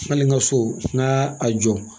Hali n ka so n k'a jɔ